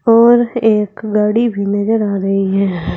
और एक गाड़ी भी नजर आ रही है।